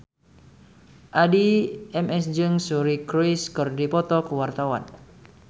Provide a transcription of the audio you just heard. Addie MS jeung Suri Cruise keur dipoto ku wartawan